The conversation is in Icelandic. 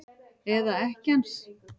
Eða ekkja hans?